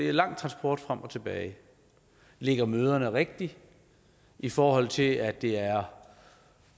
er lang transporttid frem og tilbage ligger møderne rigtigt i forhold til at det er